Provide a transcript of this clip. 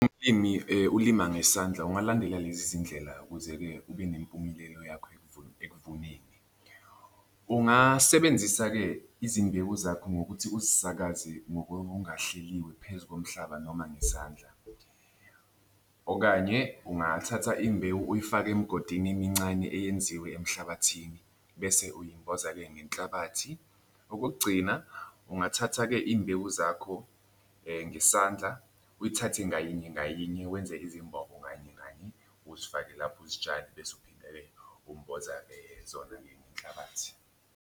Umlimi ulima ngesandla ungalandela lezi zindlela ukuze-ke ube nempumelelo yakho ekuvuneni. Ungasebenzisa-ke izimbewu zakho ngokuthi uzisakaze ngokungahleliwe phezu komhlaba noma ngesandla, okanye ungathatha imbewu uyifake emgodini emincane eyenziwe emhlabathini bese uyimboza-ke ngenhlabathi. Okokugcina ungathatha-ke imbewu zakho ngesandla, uyithathe ngayinye ngayinye wenze izimbobo kanye kanye uzifake lapho uzitshale bese uphinda-ke umboza-ke zona ngenhlabathi.